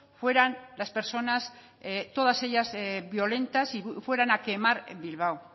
fueran las personas todas ellas violentas y fueran a quemar bilbao